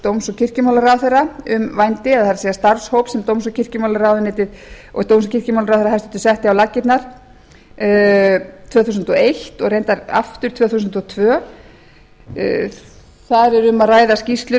dóms og kirkjumálaráðuneytisins um vændi það er starfshóps sem dóms og kirkjumálaráðuneytið og dóms og kirkjumálaráðherra hæstvirtur setti á laggirnar tvö þúsund og eins og reyndar aftur tvö þúsund og tvö þar er um að ræða skýrslur